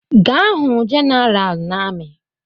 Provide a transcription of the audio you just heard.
Gaa hụ General na amị!